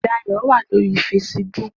Dayo wá lóri fésìbùk